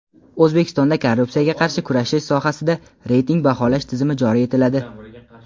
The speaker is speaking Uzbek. O‘zbekistonda korrupsiyaga qarshi kurashish sohasida reyting baholash tizimi joriy etiladi.